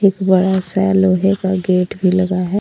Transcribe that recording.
एक बड़ा सा लोहे का गेट भी लगा है।